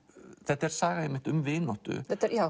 þetta er saga um vináttu